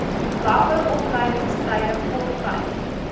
langer opleidingstye korttyd